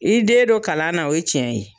I den dɔ kalan na o ye cɛn ye